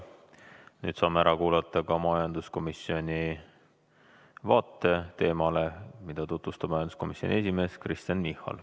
Nüüd saame ära kuulata ka majanduskomisjoni vaate, mida tutvustab majanduskomisjoni esimees Kristen Michal.